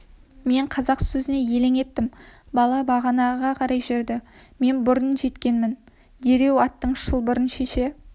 мен қазақ сөзіне елең еттім бала бағанаға қарай жүрді мен бұрын жеткенмін дереу аттың шылбырын шеше